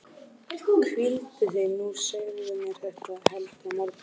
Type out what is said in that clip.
Hvíldu þig nú og segðu mér þetta heldur á morgun.